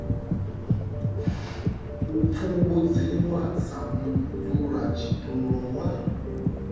u pfumbudziwa sa mudzulatshidulo wa